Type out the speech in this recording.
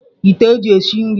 Ite eji esi nri.